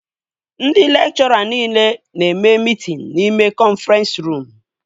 Ndị lekchọra nile na-eme mitin n'ime kọnfrens ruum